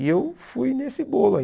E eu fui nesse bolo aí.